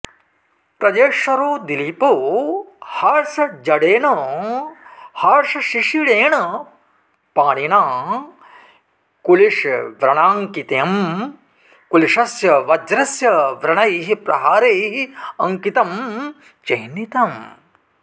प्रजेश्वरो दिलीपो हर्षजडेन हर्षशिशिरेण पाणिना कुलिशव्रणाङ्कितम् कुलिशस्य वज्रस्य व्रणैः प्रहारैः अंकितं चिह्नितं